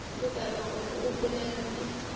lebala gore o bolela le